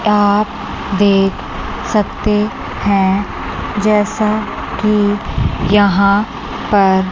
आप देख सकते हैं जैसा कि यहां पर --